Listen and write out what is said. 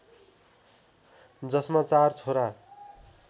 जसमा चार छोरा